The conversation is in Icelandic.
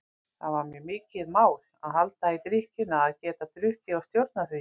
Það var mér mikið mál að halda í drykkjuna, að geta drukkið og stjórnað því.